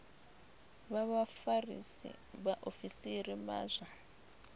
vha vhafarisa vhaofisiri vha zwa